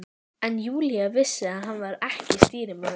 En Júlía vissi að hann var ekki stýrimaður.